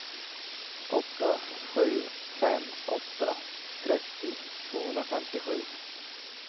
åtta sju fem åtta trettio tvåhundrafemtiosju